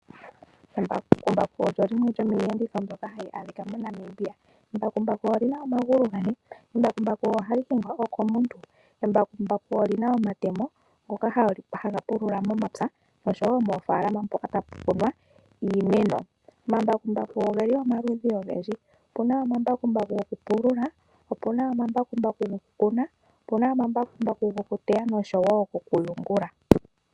Embakumbaku olyo limwe lyomiiyenditho mbyoka hayi adhika moNamibia. Embakumbaku oli na omagulu gane. Embakumbaku ohali hingwa wo komuntu. Embakumbaku oli na omatemo ngoka haga pulula momapya nosho wo moofaalama mpoka tapu kunwa iimeno. Omambakumbaku oge li omaludhi ogendji. Opu na omambakumbaku gokupulula, opu na omambakumbaku gokukuna, opu na omambakumbaku gokuteya nosho wo gokuyungula.